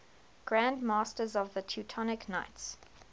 grand masters of the teutonic knights